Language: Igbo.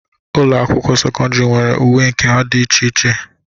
Ụlọ akwụkwọ sekọndịrị nwere uwe nke ha dị iche iche.